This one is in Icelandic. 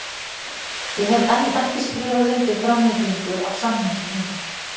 Ég hef enn ekki skrifað undir framlengingu á samningi mínum.